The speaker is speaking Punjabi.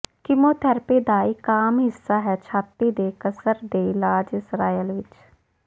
ਕੀਮੋਥੈਰੇਪੀ ਦਾ ਇੱਕ ਆਮ ਹਿੱਸਾ ਹੈ ਛਾਤੀ ਦੇ ਕਸਰ ਦੇ ਇਲਾਜ ਇਸਰਾਏਲ ਵਿੱਚ